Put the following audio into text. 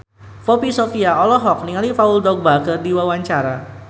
Poppy Sovia olohok ningali Paul Dogba keur diwawancara